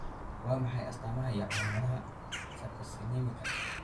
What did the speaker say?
Waa maxay astamaha iyo calaamadaha Sarcosinemika?